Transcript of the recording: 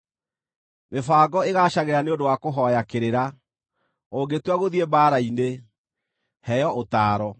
Mĩbango ĩgaacagĩra nĩ ũndũ wa kũhooya kĩrĩra, ũngĩtua gũthiĩ mbaara-inĩ, heo ũtaaro.